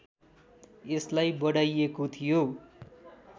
यसलाई बढाइएको थियो